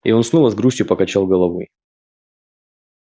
и он снова с грустью покачал головой